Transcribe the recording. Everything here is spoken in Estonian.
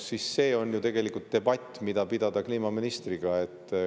See on ju debatt, mida pidada kliimaministriga.